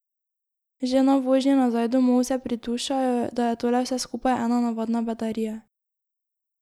Že na vožnji nazaj domov se pridušajo, da je tole vse skupaj ena navadna bedarija.